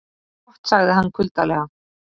Gott sagði hann kuldalega.